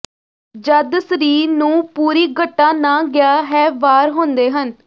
ਜਦ ਸਰੀਰ ਨੂੰ ਪੂਰੀ ਘਟਾ ਨਾ ਗਿਆ ਹੈ ਵਾਰ ਹੁੰਦੇ ਹਨ